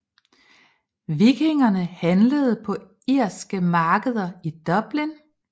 Vikingerne handlede på irske markeder i Dublin